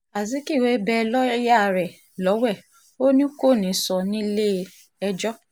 azikiwe bẹ́ lawyer rẹ̀ lọ́wẹ̀ ò ní kó nìṣó nílẹ̀-ẹjọ́